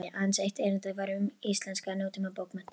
Aðeins eitt erindanna var um íslenskar nútímabókmenntir.